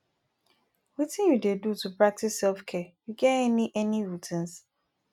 wetin you dey do to practice selfcare you get any any routines